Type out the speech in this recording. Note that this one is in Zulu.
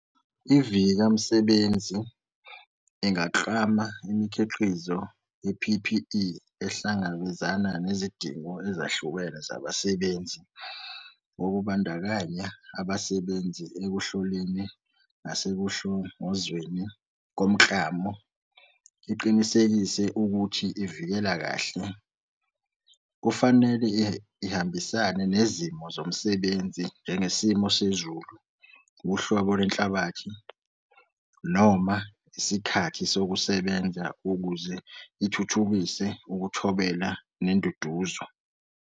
IVika Msebenzi ingaklama imikhiqizo ye-P_P_E ehlangabezana nezidingo ezahlukene zabasebenzi ngokubandakanya abasebenzi ekuhloleni nasekuhlongozweni komklamo. Iqinisekise ukuthi ivikela kahle. Kufanele ihambisane nezimo zomsebenzi njengesimo sezulu, uhlobo lwenhlabathi, noma isikhathi sokusebenza ukuze ithuthukise ukuthobela nenduduzo.